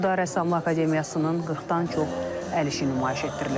Burda rəssamlıq akademiyasının 40-dan çox əl işi nümayiş etdirilib.